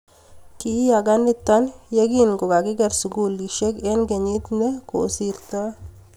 kiyaaka nito ya kokikiker sukulisiek eng' kenyit ne kosirtoi